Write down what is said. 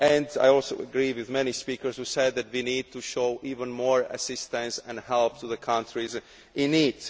I also agree with the many speakers who said that we need to offer even more assistance and help to the countries in need.